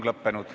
Aitäh!